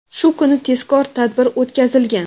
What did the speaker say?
shu kuni tezkor tadbir o‘tkazilgan.